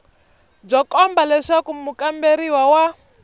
byo komba leswaku mukamberiwa wa